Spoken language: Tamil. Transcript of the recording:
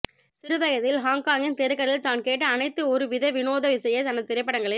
சிறு வயதில் ஹாங்காகின் தெருக்களில் தான் கேட்ட அனைத்து ஒரு வித வினோத இசையே தனது திரைப்ப்டங்களில்